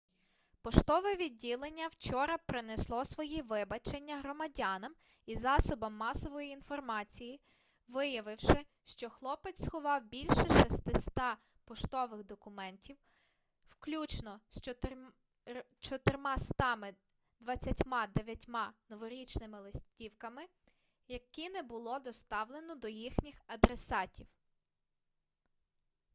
поштове відділення вчора принесло свої вибачення громадянам і засобам масової інформації виявивши що хлопець сховав більше 600 поштових документів включно з 429 новорічними листівками які не було доставлено до їхніх адресатів